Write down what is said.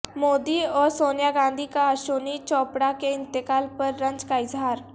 مودی اور سونیا گاندھی کا اشونی چوپڑہ کے انتقال پر رنج کا اظہار